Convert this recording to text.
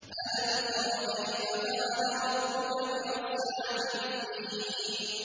أَلَمْ تَرَ كَيْفَ فَعَلَ رَبُّكَ بِأَصْحَابِ الْفِيلِ